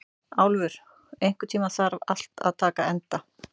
Álfur, einhvern tímann þarf allt að taka enda.